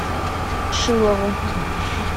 шилову